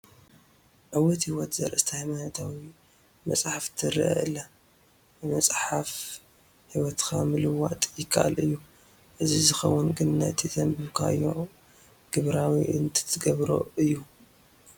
ዕዉት ህይወት ዘርእስታ ሃይማኖታዊ መፅሓፍ ትርአ ኣላ፡፡ ብመፅሓፍ ህይወትካ ምልዋጥ ይከኣል እዩ፡፡ እዚ ዝኸውን ግን ነቲ ዘንበብካዮ ግብራዊ እንትትገብሮ እዩ፡፡